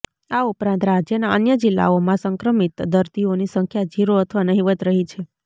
આ ઉપરાંત રાજ્યના અન્ય જિલ્લાઓમાં સંક્રમિત દર્દીઓની સંખ્યા ઝીરો અથવા નહિવત રહી છે